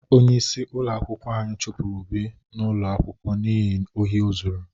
Onyeisi ụlọ akwụkwọ anyi chụpụrụ Obi ụlọ akwụkwọ n'ihi ohi o zuru.